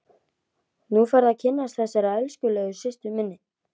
Nú færðu að kynnast þessari elskulegu systur minni!